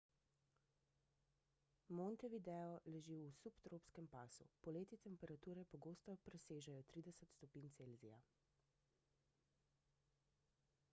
montevideo leži v subtropskem pasu poleti temperature pogosto presežejo +30 °c